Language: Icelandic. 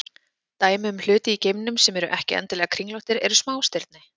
Dæmi um hluti í geimnum sem eru ekki endilega kringlóttir eru smástirni.